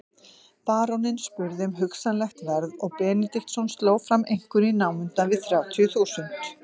Baróninn spurði um hugsanlegt verð og Benediktsson sló fram einhverju í námunda við þrjátíu þúsund.